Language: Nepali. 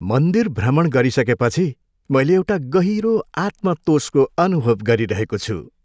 मन्दिर भ्रमण गरिसकेपछि मैले एउटा गहिरो आत्मतोषको अनुभव गरिरहेको छु।